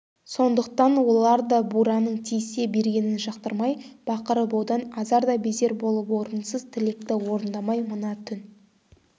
сондықтан олар да бураның тиісе бергенін жақтырмай бақырып одан азар да безер болып орынсыз тілекті орындамай мына түн